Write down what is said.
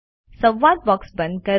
સંવાદ બોક્સ બંધ કરો